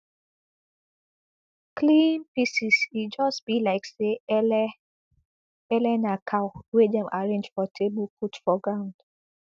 clean pieces e just be like say ele ele na cow wey dem arrange for table put for ground